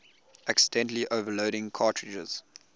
accidentally overloading cartridges